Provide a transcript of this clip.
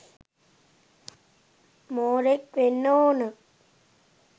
මෝරෙක් වෙන්න ඕන